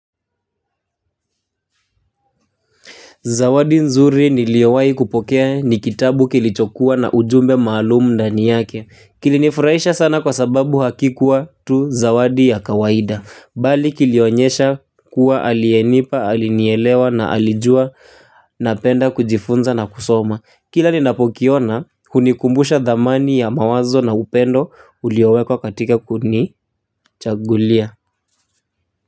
Zawadi nzuri niliowai kupokea ni kitabu kilichokuwa na ujumbe maalumu ndani yake. Kilinifurahisha sana kwa sababu hakikua tu zawadi ya kawaida. Bali kilionyesha kuwa alienipa, alinielewa na alijua napenda kujifunza na kusoma. Kila ninapokiona, hunikumbusha thamani ya mawazo na upendo uliowekwa katika kunichagulia.